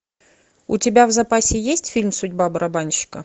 у тебя в запасе есть фильм судьба барабанщика